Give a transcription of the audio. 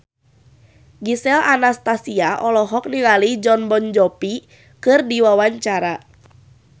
Gisel Anastasia olohok ningali Jon Bon Jovi keur diwawancara